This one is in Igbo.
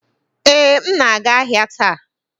Ee, m na-aga ahịa taa